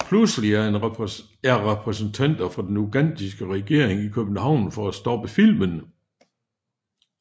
Pludselig er repræsentanter for den ugandiske regering i København for at stoppe filmen